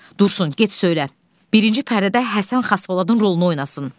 Dursun, get söylə, birinci pərdədə Həsən Xaspoladın rolunu oynasın.